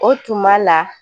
O tuma la